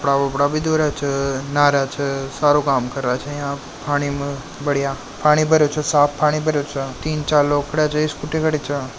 कपड़ा कपड़ा बी धो रहा छे नहा रहा छे सारो काम कर रहा छे यहां पानी मे बड़िया पानी भरो च साफ पानी छे तीन चार लोग खड़े चे स्कूटी खड़ी चे।